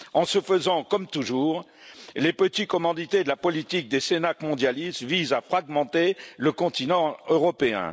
Ce faisant, comme toujours, les petits commandités de la politique des cénacles mondialistes visent à fragmenter le continent européen.